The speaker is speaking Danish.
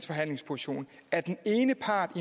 forhandlingssituation at den ene part